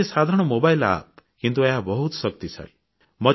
ଏହା ଗୋଟିଏ ସାଧାରଣ ମୋବାଇଲ୍ App କିନ୍ତୁ ଏହା ବହୁତ ଶକ୍ତିଶାଳୀ